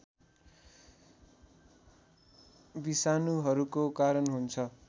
विषाणुहरूको कारण हुन्छ